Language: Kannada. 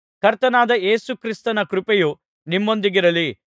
ಕರ್ತನಾದ ಯೇಸು ಕ್ರಿಸ್ತನ ಕೃಪೆಯು ನಿಮ್ಮೊಂದಿಗಿರಲಿ